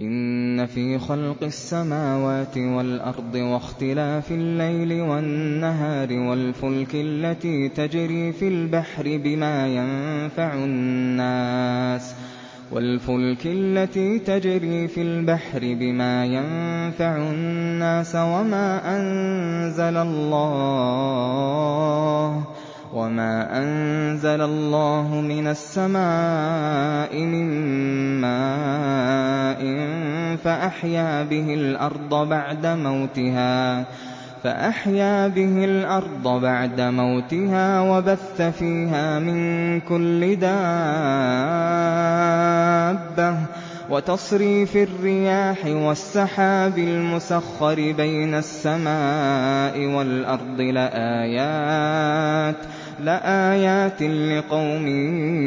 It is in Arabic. إِنَّ فِي خَلْقِ السَّمَاوَاتِ وَالْأَرْضِ وَاخْتِلَافِ اللَّيْلِ وَالنَّهَارِ وَالْفُلْكِ الَّتِي تَجْرِي فِي الْبَحْرِ بِمَا يَنفَعُ النَّاسَ وَمَا أَنزَلَ اللَّهُ مِنَ السَّمَاءِ مِن مَّاءٍ فَأَحْيَا بِهِ الْأَرْضَ بَعْدَ مَوْتِهَا وَبَثَّ فِيهَا مِن كُلِّ دَابَّةٍ وَتَصْرِيفِ الرِّيَاحِ وَالسَّحَابِ الْمُسَخَّرِ بَيْنَ السَّمَاءِ وَالْأَرْضِ لَآيَاتٍ لِّقَوْمٍ